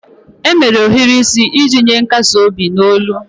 E mere ohiri isi iji nye nkasi obi n'olu